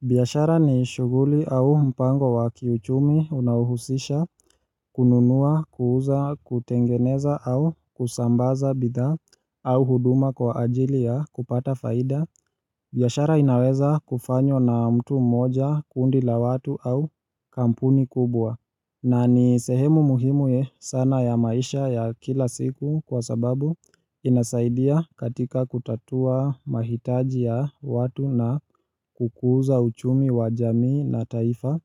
Biashara ni shughuli au mpango wa kiuchumi unaohusisha kununua kuuza kutengeneza au kusambaza bidhaa au huduma kwa ajili ya kupata faida. Biashara inaweza kufanywa na mtu mmoja kundi la watu au kampuni kubwa. Na ni sehemu muhimu ye sana ya maisha ya kila siku kwa sababu inasaidia katika kutatua mahitaji ya watu na kukuza uchumi wa jamii na taifa.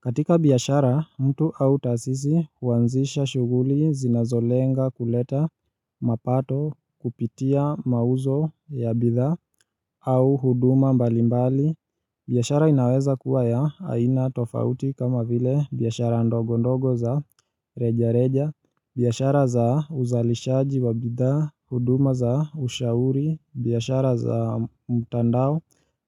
Katika biashara, mtu au taasisi huanzisha shughuli zinazolenga kuleta mapato kupitia mauzo ya bidhaa au huduma mbalimbali. Biashara inaweza kuwa ya aina tofauti kama vile biashara ndogo ndogo za reja reja, biashara za uzalishaji wa bidhaa, huduma za ushauri, biashara za mtandao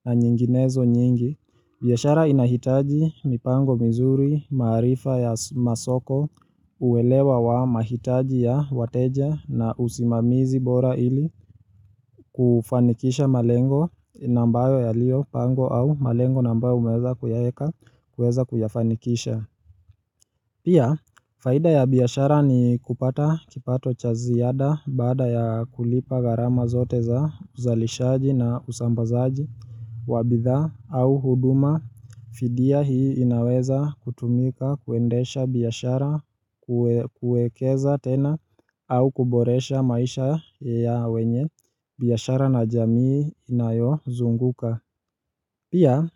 na nyinginezo nyingi. Biashara inahitaji mipango mizuri maarifa ya masoko uwelewa wa mahitaji ya wateja na usimamizi bora ili kufanikisha malengo na ambayo yaliyopangwa au malengo na ambayo umeweza kuyaeka kuweza kuyafanikisha. Pia, faida ya biashara ni kupata kipato cha ziada baada ya kulipa gharama zote za uzalishaji na usambazaji wa bidhaa au huduma, fidia hii inaweza kutumika kuendesha biashara kuekeza tena au kuboresha maisha ya wenye biashara na jamii inayozunguka Pia,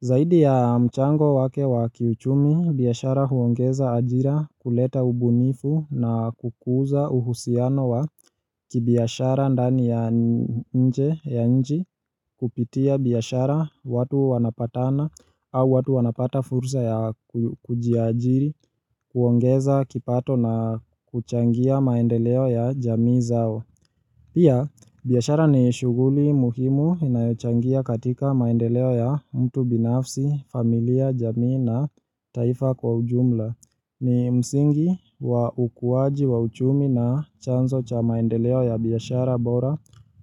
zaidi ya mchango wake wa kiuchumi, biashara huongeza ajira kuleta ubunifu na kukuza uhusiano wa kibiashara ndani ya nje ya nchi kupitia biashara watu wanapatana au watu wanapata fursa ya kujiaajiri, huongeza kipato na kuchangia maendeleo ya jamii zao. Pia, biyashara ni shuguli muhimu inayochangia katika maendeleo ya mtu binafsi, familia, jamii na taifa kwa ujumla. Ni msingi wa ukuwaji wa uchumi na chanzo cha maendeleo ya biashara bora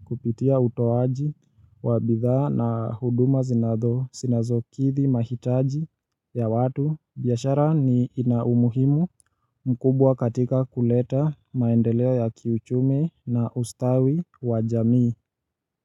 kupitia utoaji wa bidhaa na huduma zinazokidhi mahitaji ya watu. Biashara ni ina umuhimu mkubwa katika kuleta maendeleo ya kiuchumi na ustawi wa jamii.